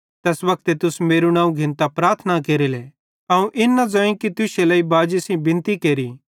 तैस वक्ते तुस मेरू नवं घिन्तां प्रार्थना केरेले अवं इन न ज़ोईं कि तुश्शे लेइ बाजी सेइं बिनती केरि